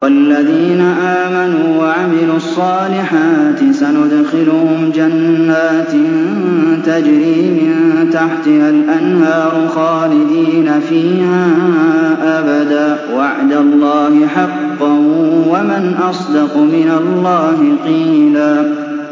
وَالَّذِينَ آمَنُوا وَعَمِلُوا الصَّالِحَاتِ سَنُدْخِلُهُمْ جَنَّاتٍ تَجْرِي مِن تَحْتِهَا الْأَنْهَارُ خَالِدِينَ فِيهَا أَبَدًا ۖ وَعْدَ اللَّهِ حَقًّا ۚ وَمَنْ أَصْدَقُ مِنَ اللَّهِ قِيلًا